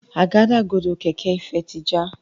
Àgádágodo kẹ̀kẹ́ Ifẹ tí já.